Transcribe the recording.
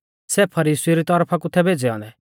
सै फरीसीउ री तरफा कु थै भेज़ै औन्दै